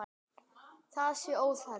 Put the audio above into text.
Það sé óþarfi.